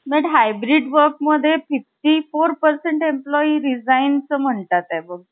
but hybrid work mode मध्ये ५४ percent meployee resign च म्हणतात आहे अगं !